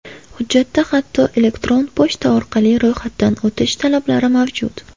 Hujjatda hatto elektron pochta orqali ro‘yxatdan o‘tish talablari mavjud.